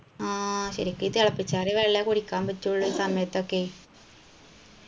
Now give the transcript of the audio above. ആ ശരിക്കു ഈ തിളപ്പിച്ചാറിയ വെള്ളേ കുടിക്കാൻ പറ്റുള്ളൂ ഈ സമയത്തൊക്കെ